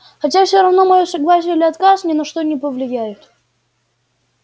хотя всё равно моё согласие или отказ ни на что не повлияет